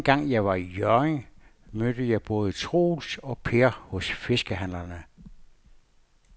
Anden gang jeg var i Hjørring, mødte jeg både Troels og Per hos fiskehandlerne.